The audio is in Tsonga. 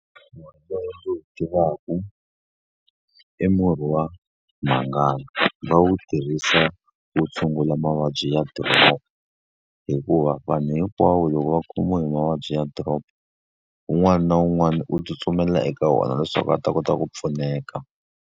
Lowu ndzi wu tivaka i murhi wa mhangani, va wu tirhisa ku tshungula mavabyi ya drop. Hikuva vanhu hinkwavo loko va khomiwa hi mavabyi ya drop, un'wana na un'wana u tsutsumela eka wona leswaku a ta kota ku pfuneka.